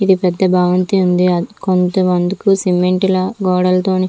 ఇది పెద్ధ భవంతి ఉంది అది కొంతమటుకు సిమెంట్ లా గోడలు తొని --